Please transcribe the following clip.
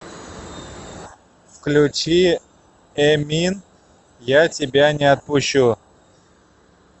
включи эмин я тебя не отпущу